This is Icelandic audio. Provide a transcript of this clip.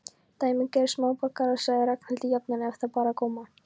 Dæmigerðir smáborgarar sagði Ragnhildur jafnan ef þá bar á góma.